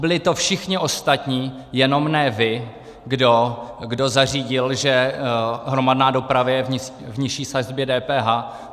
Byli to všichni ostatní, jenom ne vy, kdo zařídil, že hromadná doprava je v nižší sazbě DPH.